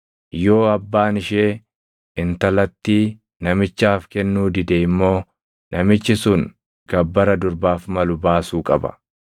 Yoo abbaan ishee intalattii namichaaf kennuu dide immoo namichi sun gabbara durbaaf malu baasuu qaba.